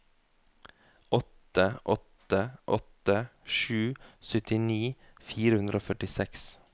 åtte åtte åtte sju syttini fire hundre og førtiseks